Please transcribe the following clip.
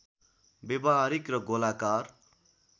व्यावहारिक र गोलाकार